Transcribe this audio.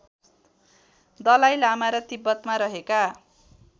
दलाइ लामा र तिब्बतमा रहेका